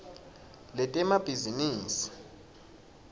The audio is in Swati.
letemabhizinisi